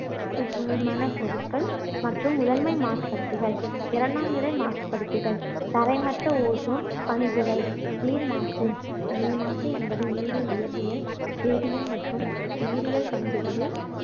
பொருட்கள் மற்றும் முதன்மை மாசுபடுத்திகள் இரண்டாம் நிலை மாசுபடுத்திகள் தரைமட்ட ozone பனிப்புகை, நீர் மாசு. நீர் மாசு என்பது நீரின் இயற்பியல், வேதியல் மற்றும் உயிரியல் பண்புகளில்